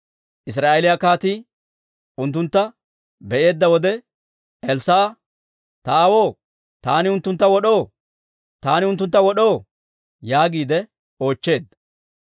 Israa'eeliyaa kaatii unttuntta be'eedda wode Elssaa'a, «Ta aawoo, taani unttuntta wod'oo? Taani unttuntta wod'oo?» yaagiide oochcheedda.